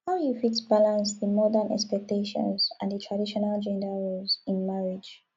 how you fit balance di modern expectations and di traditional gender roles in marriage